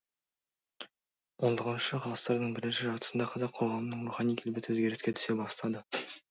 хіх ғасырдың бірінші жартысында қазақ қоғамының рухани келбеті өзгеріске түсе бастады